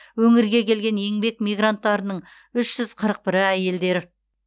өңірге келген еңбек мигранттарының үш жүз қырық бірі әйелдер